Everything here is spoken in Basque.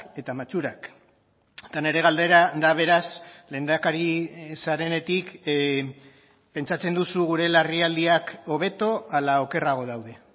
eta matxurak eta nire galdera da beraz lehendakari zarenetik pentsatzen duzu gure larrialdiak hobeto ala okerrago daude